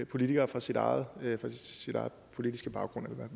politikere fra sin egen politiske baggrund